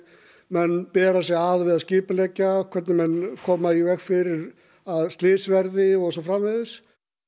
menn bera sig að við að skipuleggja hvernig menn koma í veg fyrir að slys verði og svo framvegis